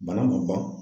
Bana ma ban